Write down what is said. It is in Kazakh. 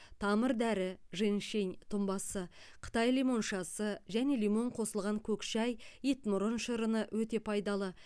тамыр дәрі женьщень тұнбасы қытай лимоншасы және лимон қосылған көк шәй итмұрын шырыны өте пайдалы